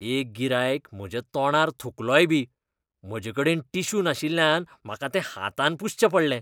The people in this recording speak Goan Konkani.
एक गिरायक म्हज्या तोंडार थुकलोय बी. म्हजेकडेन टिश्यू नाशिल्ल्यान म्हाका तें हातान पुसचें पडलें.